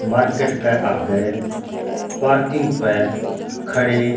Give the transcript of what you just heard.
मार्केट क आग्ह पार्किंग प खड़े --